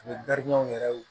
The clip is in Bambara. U bɛ yɛrɛw